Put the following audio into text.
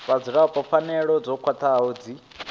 vhadzulapo pfanelo dzo khwathaho dzi